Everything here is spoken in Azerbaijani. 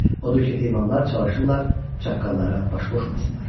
Odur ki, heyvanlar çalışırlar çaqqallara baş qoşmasınlar.